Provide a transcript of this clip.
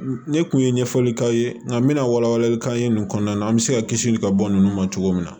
Ne kun ye ɲɛfɔli k'aw ye nka n bɛna wala wala i bɛ kanɲa ninnu kɔnɔna na an bɛ se ka kisi ka bɔ ninnu ma cogo min na